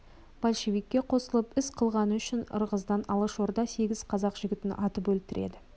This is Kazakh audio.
большевикке қосылып іс қылғаны үшін ырғыздан алашорда сегіз қазақ жігітін атып өлтіреді